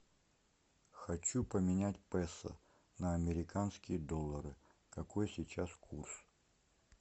хочу поменять песо на американские доллары какой сейчас курс